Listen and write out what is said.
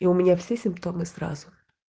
и у меня все симптомы сразу